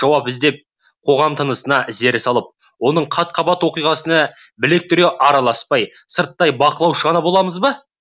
жауап іздеп қоғам тынысына зер салып оның қат қабат оқиғасына білек түре араласпай сырттай бақылаушы ғана боламыз ба